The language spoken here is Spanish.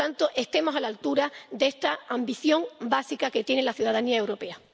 Por lo tanto, estemos a la altura de esta ambición básica que tiene la ciudadanía europea.